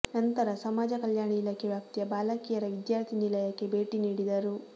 ನಂತರ ಸಮಾಜ ಕಲ್ಯಾಣ ಇಲಾಖೆ ವ್ಯಾಪ್ತಿಯ ಬಾಲಕಿಯರ ವಿದ್ಯಾರ್ಥಿ ನಿಲಯಕ್ಕೆ ಭೇಟಿ ನೀಡಿದರು